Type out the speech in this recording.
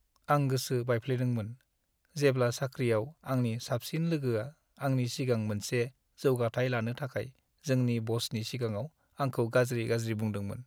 आं गोसो बायफ्लेदोंमोन, जेब्ला साख्रिआव आंनि साबसिन लोगोआ आंनि सिगां मोनसे जौगाथाय लानो थाखाय जोंनि बसनि सिगाङाव आंखौ गाज्रि-गाज्रि बुंदोंमोन।